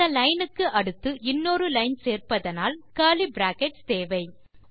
இந்த லைன் க்கு அடுத்து இன்னொரு லைன் சேர்ப்பதானால் கர்லி பிராக்கெட்ஸ் தேவை